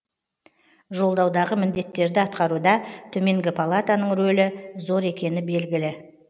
жолдаудағы міндеттерді атқаруда төменгі палатаның рөлі зор екені белгілі